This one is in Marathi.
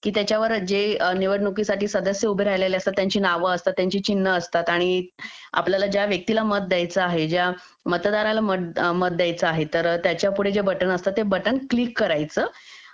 की त्याच्यावरती जे निवडणुकीसाठी सदस्य उभे राहिलेले असतात त्यांची नावे असतात चिन्ह असतात आणि आपल्याला ज्या व्यक्तीला मत द्यायचा आहे ज्या मतदाराला मत द्यायचा आहे त्या त्याच्यापुढे जे बटन असतं ते बटन क्लिक करायचं